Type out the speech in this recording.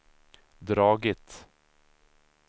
dragit